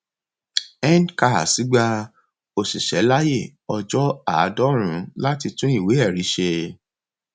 ncars gba òṣìṣẹ láyè ọjọ àádọrùnún láti tún ìwé ẹrí ṣe